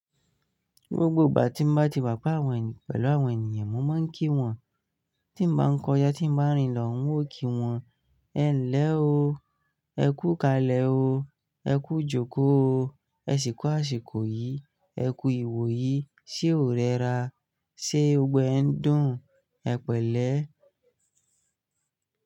Gbogbo ìgbà tí n bá ti wà pẹ wọn pẹ̀lú àwọn ènìyàn mo máa ń kí wọn. Tí n bá ń kọjá, tí n bá rìn lọ, n ó kí wọn. Ẹ ń lẹ́ o, ẹ kú kalẹ̀ o, ẹ kú jókòó o, ẹ sì ku àsìkò yìí, ẹ kú ìwò yìí, ṣé o rẹra? Ṣé gbogbo e ń dùn? Ẹ pẹ̀lẹ́.